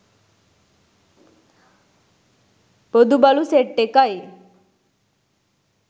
බොදු බලු සෙට් එකයි